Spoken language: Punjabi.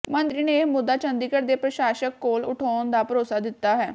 ਮੰਤਰੀ ਨੇ ਇਹ ਮੁੱਦਾ ਚੰਡੀਗੜ੍ਹ ਦੇ ਪ੍ਰਸ਼ਾਸਕ ਕੋਲ ਉਠਾਉਣ ਦਾ ਭਰੋਸਾ ਦਿੱਤਾ ਹੈ